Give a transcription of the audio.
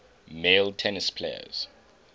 male tennis players